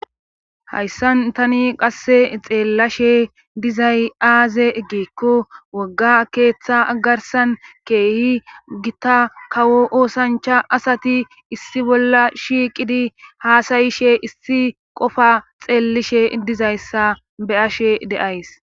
Hayssan tani qasse xeellashe dizay aaze egikko wogga keeththa agarsan keehi gita kawo oosancha asati issi bolla shiiqidi haasayishe issi qofa xeellishe dizayssa be ashe deays